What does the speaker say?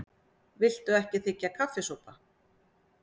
Viltu ekki þiggja kaffisopa?